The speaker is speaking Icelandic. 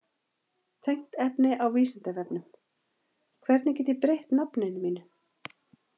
Tengt efni á Vísindavefnum: Hvernig get ég breytt nafninu mínu?